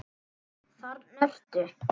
Þarna ertu!